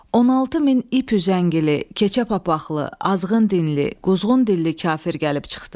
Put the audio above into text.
16 min ip üzəngili, keçə papaqqlı, azğın dinli, quzğun dilli kafir gəlib çıxdı.